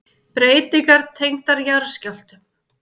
Breytingar tengdar jarðskjálftum